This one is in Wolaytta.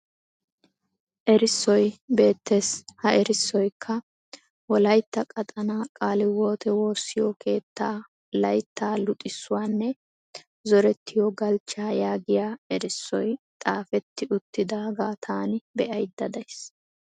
Erissoy beettes. Ha erissoyikka" wolayitta qaxanaa qaaliwoote woossiyo keettaa layittaa luxissuwanne zorettiyo galchchaa" yaagiya erissoy xaafetti uttidaagaa taani be'ayidda dayis.